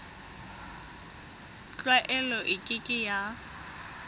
tlwaelo e ke ke ya